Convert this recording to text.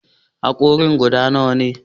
Hankorin ka guda nawa ne?